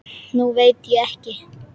Nú veit ég ekki.